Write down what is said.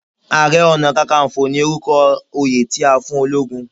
Àrẹ-ọ̀nà-kákanfọ̀ ni orúkọ oyè tí a fún ológun.